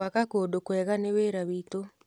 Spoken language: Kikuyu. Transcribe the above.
Gwaka kũndũ kwega nĩ wĩra witũ.